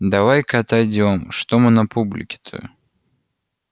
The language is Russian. давай-ка отойдём что мы на публике-то